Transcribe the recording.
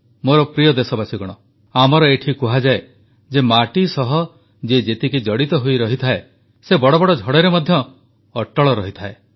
ମୋର ପ୍ରିୟ ଦେଶବାସୀଗଣ ଆମର ଏଠି କୁହାଯାଏ ଯେ ମାଟି ସହ ଯିଏ ଯେତିକି ଜଡ଼ିତ ହୋଇ ରହିଥାଏ ସେ ବଡ଼ବଡ଼ ଝଡ଼ରେ ମଧ୍ୟ ଅଟଳ ରହିଥାଏ